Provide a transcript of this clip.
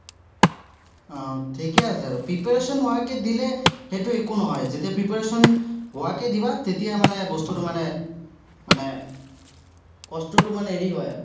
আহ ঠিকেই আছে আৰু preparation নোহোৱাকে দিলে, সেইটো একো নহয়। যেতিয়া preparation হোৱাকে দিবা, তেতিয়া মানে বস্তুটো মানে, মানে কষ্টটো মানে হেৰি হয় আৰু।